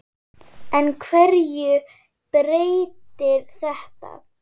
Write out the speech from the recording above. En hverju breytir þetta?